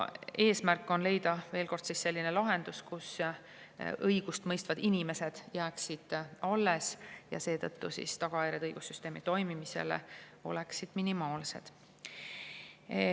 Eesmärk on leida, ütlen veel kord, selline lahendus, mille korral õigust mõistvad inimesed jääksid alles ja tänu sellele tagajärjed õigussüsteemi toimimisele oleksid minimaalsed.